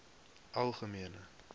algemene